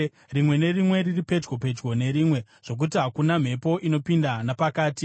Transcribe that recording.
rimwe nerimwe riri pedyo pedyo nerimwe, zvokuti hakuna mhepo inopinda napakati.